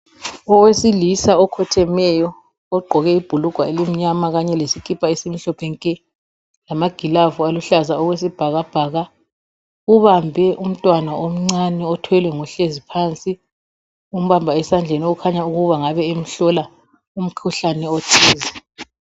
Owesilisa okhothemeyo ogqoke ibhulugwe elimnyama kanye lesikipa esimhlophe nke lamagilovisi aluhlaza okwesibhakabhaka ubambe umntwana omncane othwelwe ngohlezi phansi. Umbamba esandleni okukhanya ukuba engabe emhlola umkhuhlane othize.